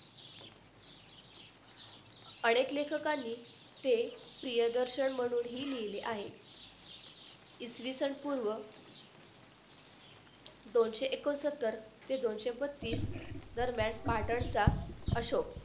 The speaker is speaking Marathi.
अनेक लेखकांनी ते प्रियदर्शन म्हणूनही लिहिले आहेत इसवी सन पूर्व दोनशे एकोणसत्तर ते दोनशे पस्तीस दरम्यान पाटणचा अशोक